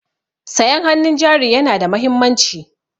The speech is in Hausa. Sayan hannun jari yana da mahimmanci.